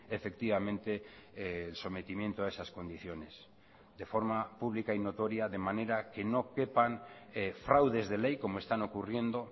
efectivamente el sometimiento a esas condiciones de forma pública y notoria de manera que no quepan fraudes de ley como están ocurriendo